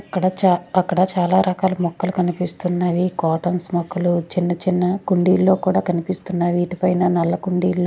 అక్కడ చా-- అక్కడ చాలా రకాల మొక్కలు కనిపిస్తున్నవి కాటన్స్ మొక్కలు చిన్న చిన్న కుండీల్లో కూడా కనిపిస్తున్నావి వీటిపైన నల్ల కుండీలు.